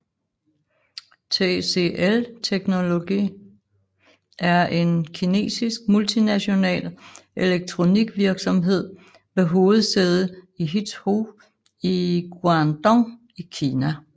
TCL Technology er en kinesisk multinational elektronikvirksomhed med hovedsæde i Huizhou i Guangdong i Kina